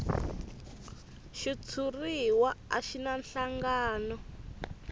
xitshuriwa a xi na nhlangano